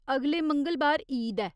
अगले मंगलबार ईद ऐ।